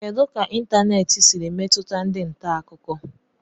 Kedu ka ịntanètị siri metụta ndị nta akụkọ